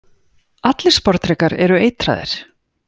Allir sporðdrekar eru eitraðir.